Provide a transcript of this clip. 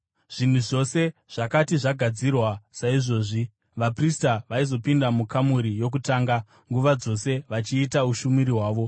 Zvinhu zvose zvakati zvagadzirwa saizvozvi, vaprista vaizopinda mukamuri yokutanga nguva dzose vachiita ushumiri hwavo.